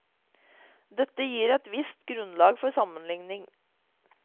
Dette gir et visst grunnlag for sammenligning.